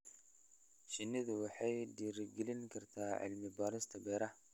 Shinnidu waxay dhiirigelin kartaa cilmi-baarista beeraha.